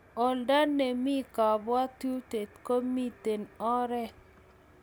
oldo ne mi kabwotutie ko mito oret